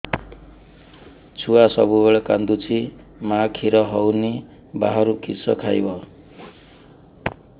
ଛୁଆ ସବୁବେଳେ କାନ୍ଦୁଚି ମା ଖିର ହଉନି ବାହାରୁ କିଷ ଖାଇବ